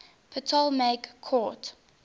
ptolemaic court